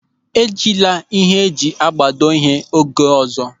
E jila ịhe eji agbado ihe oge ọzọ.